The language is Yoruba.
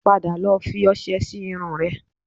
Padà lọ fi ọṣẹ sí irun rẹ